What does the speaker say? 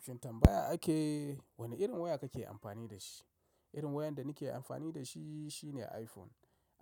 Shintambaya ake, wane irin waya kake amfani da shi? Irin wayar da nake amfani da shi shine iPhone.